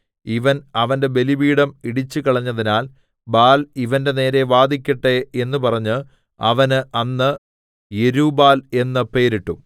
ഇവൻ അവന്റെ ബലിപീഠം ഇടിച്ചുകളഞ്ഞതിനാൽ ബാല്‍ ഇവന്റെ നേരെ വാദിക്കട്ടെ എന്ന് പറഞ്ഞ് അവന് അന്ന് യെരുബ്ബാൽ എന്ന് പേരിട്ടു